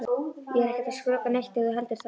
Ég er ekkert að skrökva neitt ef þú heldur það.